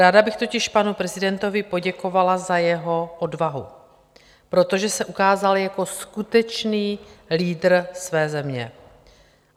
Ráda bych totiž panu prezidentovi poděkovala za jeho odvahu, protože se ukázal jako skutečný lídr své země.